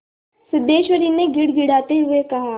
सिद्धेश्वरी ने गिड़गिड़ाते हुए कहा